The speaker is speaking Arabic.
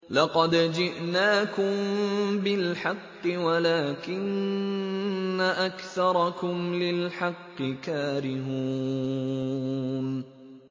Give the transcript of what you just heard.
لَقَدْ جِئْنَاكُم بِالْحَقِّ وَلَٰكِنَّ أَكْثَرَكُمْ لِلْحَقِّ كَارِهُونَ